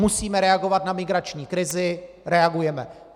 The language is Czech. Musíme reagovat na migrační krizi, reagujeme.